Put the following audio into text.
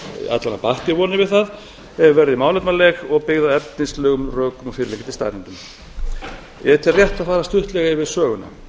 batt ég vonir við það verði málefnaleg og byggð á efnislegum rökum og fyrirliggjandi staðreyndum ég tel rétt að fara stuttlega yfir söguna